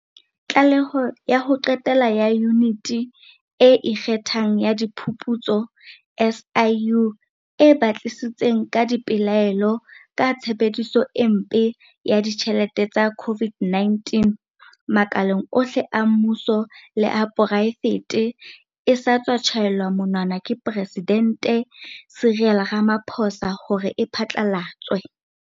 Tlaleho ya ho qetela ya Yuniti e Ikgethang ya Diphuputso, SIU, e batlisitseng ka dipelaelo ka tshebediso e mpe ya ditjhelete tsa COVID-19, makaleng ohle a mmuso le a poraefete e sa tswa tjhaelwa monwana ke Presidente Cyril Ramaphosa hore e phatla latswe.